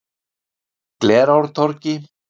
Glerártorgi